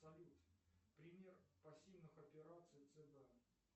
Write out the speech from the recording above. салют пример пассивных операций цб